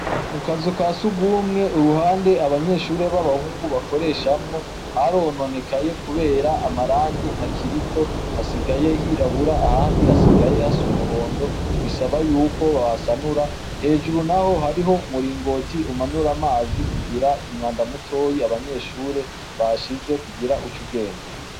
Mu kazu ka sugumwe uruhande abanyeshure b'abahungu bakoreshamwo harononekaye kubera amarangi ntakiriko, hasigaye hirabura, ahandi hasigaye hasa umuhondo, bisaba yuko bahasanura, hejuru naho hariho umuringoti umanura amazi kugira umwanda mutoyi abanyeshure bashize kugira uce ugenda.